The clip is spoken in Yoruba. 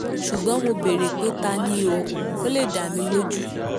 ṣùgbọ́n mo béèrè pé ta ni o kò lè dá mi lójú